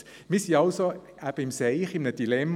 Wir sind also «im Seich», in einem Dilemma: